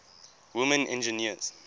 women engineers